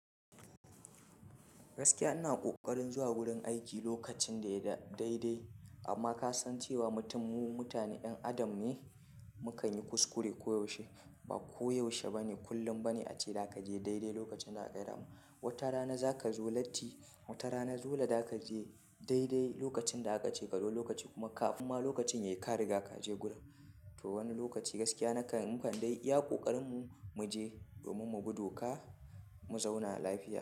Gaskiya ina ƙoƙarin zuwa gurin aiki lokacin da ya da daidai amma ka san cewa mutum mu mutane ƴan adam ne, mukan yi kuskure koyaushe. Ba koyaushe bane kullum bane ace za ka je daidai lokacin da aka gaya ma. Wata rana za ka zo latti, wata rana dole za ka je daidai lokacin da aka ce ka zo lokaci kuma ka amma lokacin yayi ka riga ka je gurin. To wani lokaci gaskiya nakan mu kan dai iya ƙoƙarin mu mu je domin mu bi doka, mu zauna lafiya.